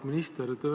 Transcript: Auväärt minister!